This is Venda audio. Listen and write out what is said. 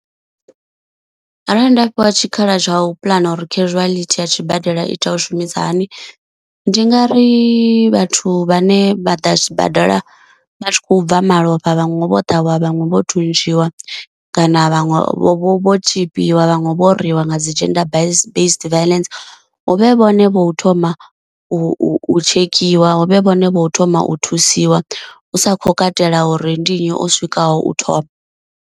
Arali nda fhiwa tshikhala tsha u puḽana uri casuality ya tshibadela ita u shumisa hani, ndi nga ri vhathu vhane vha ḓa sibadela vha tshi khou bva malofha vhaṅwe vho ṱhavhiwa vhaṅwe vho thuntshiwa kana vhaṅwe vho vho tshipiwa vhaṅwe vho rwiwa nga dzi gender base based violence huvhe vhone vho thoma u tshekhiwa, huvhe vhone vho thoma u thusiwa, hu sa khou katela uri ndi nnyi o swikaho u thoma.